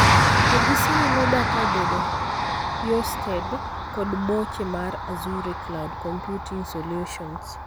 To gi saani data obedo hiosted kod boche mar Azure cloud computing solutions.